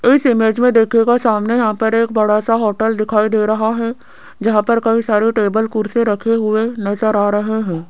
इस इमेज में देखिएगा सामने यहां पर एक बड़ा सा होटल दिखाई दे रहा है जहां पर कई सारे टेबल कुर्सी रखे हुए नजर आ रहे हैं।